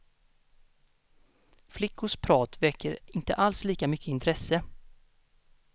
Flickors prat väcker inte alls lika mycket intresse.